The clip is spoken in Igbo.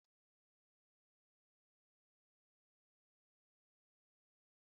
Enwetara m azịza nke ilu gị?